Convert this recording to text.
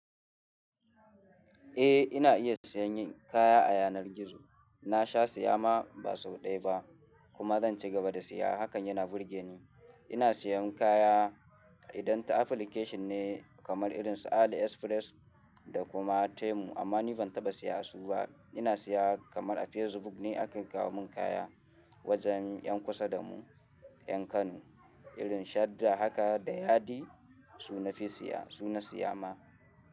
Eh ina iya siyan kaya a yanar gizo. Na sha siya ma ba sau ɗaya ba kuma zan cigaba da siya. Hakan yana burge ni. Ina siyan kaya idan ta application ne kamar irin su Ali Express da kuma Temu amma ni ban taɓa siya a su ba. Ina siya kamar a Facebook ne aka kawo mun kaya wajen ƴan kusa da mu ƴan Kano irin Shadda haka da Yadi su na fi siya, su na siya ma.